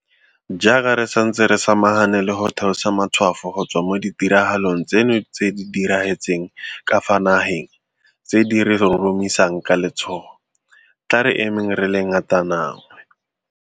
Jaaka re santse re samagane le go theosa matshwafo go tswa mo ditiraga long tseno tse di diragetseng ka fa nageng tse di re roromisang kale tshogo, tla re emeng re le ngatananngwe.